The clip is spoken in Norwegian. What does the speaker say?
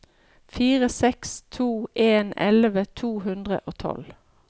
fire seks to en elleve to hundre og tolv